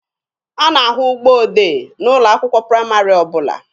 A na-ahụ ụgbọ odee n'ụlọ akwụkwọ praịmarị ọbụla.